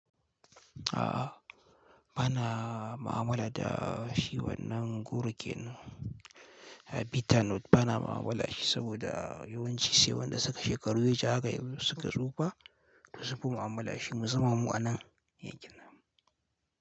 A'a, ba na mu'amala da shi wannan gurgin bita nut, ba na mu'amala da shi saboda yawanci sai wanda suka shekaru waje haka suka tsufa da su fi mu'amala shi. Musamman mu a nan yankin nan.